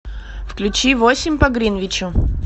включи восемь по гринвичу